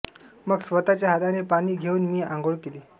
मग स्वतःच्या हाताने पाणी घेऊन मी आंघोळ केली